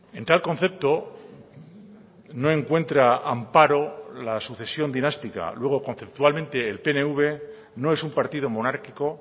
en tal concepto no encuentra amparo la sucesión dinástica luego conceptualmente el pnv no es un partido monárquico